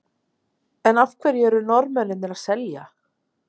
En af hverju eru Norðmennirnir að selja?